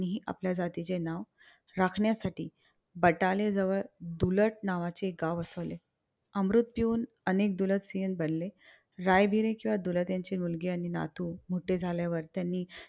हि आपल्या जातीचे नाव राखण्यासाठी बटाले जवळ डुलत नावाचे गाव वसवले. अमृत पिऊन अनेक डुलतसिंघ बनले. रायबीरी च्या डुलतीयांची मुलगी आणि नातू मोठे झाल्यावर त्यांनी